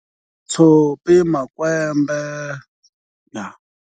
Tshopi, makwembe yaa.